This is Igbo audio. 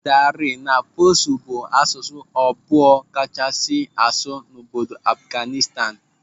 Dari na Pashto bụ asụsụ abụọ akachasi asụ n'obodo Afghanistan.